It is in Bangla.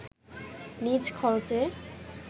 নিজ খরচে